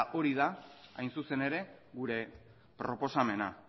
hori da hain zuzen ere gure proposamena